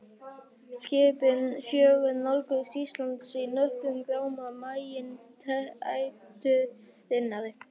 Skipin fjögur nálguðust Ísland í nöprum gráma maínæturinnar.